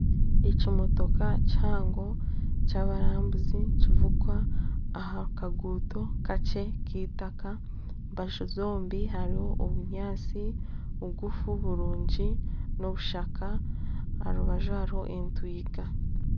Ekimotoka kihango, ky'abarambuzi nikivugwa aha kaguuto kakye k'eitaka aha mbaju zombi hariho obunyaatsi bugufu burungi n'obushaka aha rubaju hariho entwiga